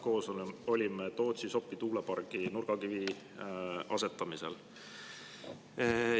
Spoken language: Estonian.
Me mõlemad olime Tootsi-Sopi tuulepargi nurgakivi asetamisel.